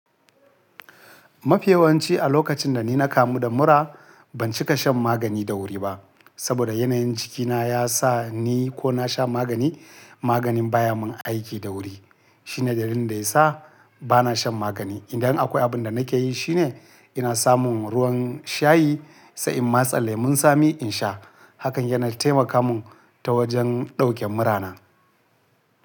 Mafi yawanci a lokacin da ni na kamu da mura, ban cika shan magani da wuri ba. Saboda yanayin jikina ya sa ni ko na sha magani, maganin baya mun aiki da wuri. Shine dalilin da ya sa bana shan magani. Indan akwai abin da nake yi shine ina samun ruwan shayi, sai in matsa lemon tsami in sha. Hakan yana taimaka mun ta wajen dauke murana.